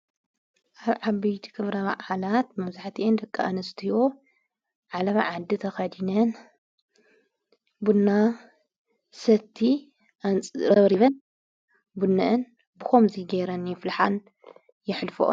ኣብ ዓበይቲ ኽብረ ባዕዓላት መብዛሕቲአን ድቂ ኣንስትዎ ዓለማ ዓዲ ተኸዲነን ብና ሰቲ ኣንፅረብሪብን ቡንእን ብኾምዙይ ገይረን የፍልሓን የኅልፈ::